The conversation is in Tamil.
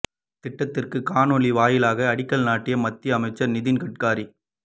திட்டத்திற்கு காணொலி வாயிலாக அடிக்கல் நாட்டிய மத்திய அமைச்சர் நிதின் கட்கரி